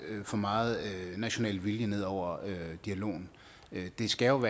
for meget national vilje ned over dialogen det skal jo